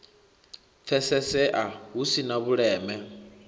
pfesesea hu si na vhuleme